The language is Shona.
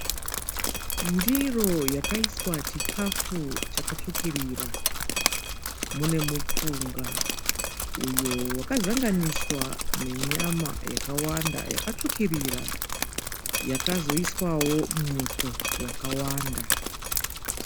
Ndiro yakaiswa chikafu chakatsvukirira. Mune mupunga uyo wakazanganiswa nenyama yakawanda yakatsvukirira yakazoiswawo muto wakawanda.